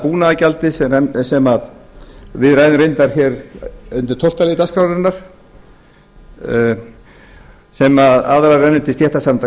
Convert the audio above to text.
búnaðargjaldið sem við ræðum reyndar hér undir tólftu lið dagskrárinnar sem rennur aðallega til stéttarsamtaka bænda